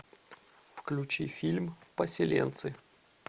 включи фильм поселенцы